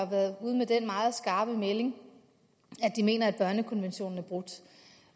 været ude med den meget skarpe melding at de mener at børnekonventionen er brudt